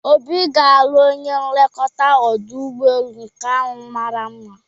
Obi ga-alụ onye nlekọta ọdụ ụgbọelu nke ahụ mara mma